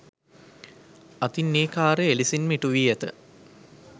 අතින් ඒ කාර්යය එලෙසින්ම ඉටු වී ඇත.